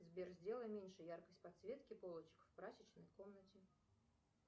сбер сделай меньше яркость подсветки полочек в прачечной комнате